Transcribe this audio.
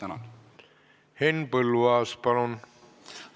Henn Põlluaas, palun!